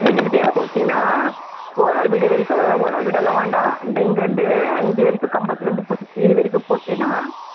வீட்டுகிட்டயே போட்டுட்டீன்னா owner வீடுவரைக்கும் owner வீடெல்லாம் வேண்டாம் அந்த இங்க இருந்து இது வரைக்கும் கம்பத்துல இருந்து இது வரைக்கும் போட்டுட்டீன்னா